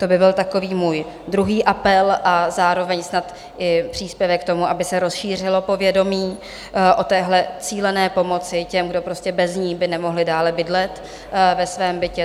To by byl takový můj druhý apel a zároveň snad i příspěvek k tomu, aby se rozšířilo povědomí o téhle cílené pomoci těm, kdo prostě bez ní by nemohli dále bydlet ve svém bytě.